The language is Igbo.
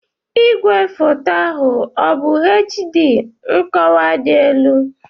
Igwefoto ahụ ọ bụ HD (nkọwa dị elu)?